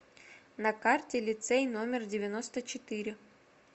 на карте лицей номер девяносто четыре